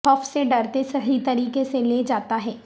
خوف سے ڈرتے صحیح طریقے سے لے جاتا ہے